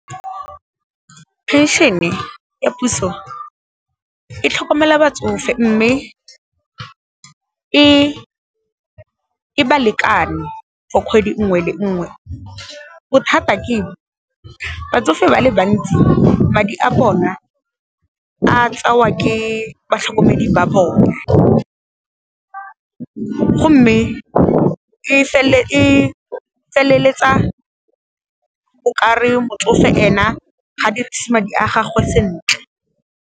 Phenšene ya puso e tlhokomela batsofe mme, e balekane for kgwedi nngwe le nngwe, bothata keng, batsofe ba le bantsi madi a bona a tseiwa ke batlhokomedi ba bone, go mme e feleletsa o ka re motsofe ena ga dieise madi a gagwe sentle.